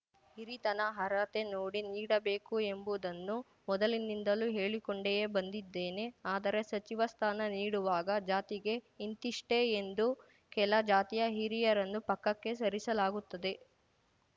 ಹಿರಿತನ ಅರ್ಹತೆ ನೋಡಿ ನೀಡಬೇಕು ಎಂಬುದನ್ನು ಮೊದಲಿನಿಂದಲೂ ಹೇಳಿಕೊಂಡಿಯೇ ಬಂದಿದ್ದೇನೆ ಆದರೆ ಸಚಿವ ಸ್ಥಾನ ನೀಡುವಾಗ ಜಾತಿಗೆ ಇಂತಿಷ್ಟೇ ಎಂದು ಕೆಲ ಜಾತಿಯ ಹಿರಿಯರನ್ನು ಪಕ್ಕಕ್ಕೆ ಸರಿಸಲಾಗುತ್ತದೆ